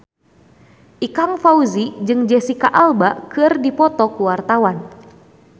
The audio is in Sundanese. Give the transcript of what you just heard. Ikang Fawzi jeung Jesicca Alba keur dipoto ku wartawan